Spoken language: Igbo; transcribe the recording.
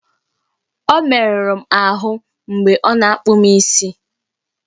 Ọmerụrụ m ahụ mgbe ọ na-akpụ m isi!